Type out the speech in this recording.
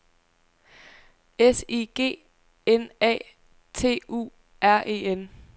S I G N A T U R E N